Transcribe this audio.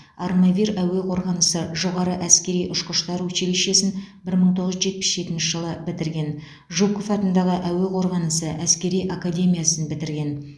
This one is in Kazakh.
армавир әуе қорғанысы жоғары әскери ұшқыштар училищесін бір мың тоғыз жүз жетпіс жетінші жылы бітірген жуков атындағы әуе қорғанысы әскери академиясын бітірген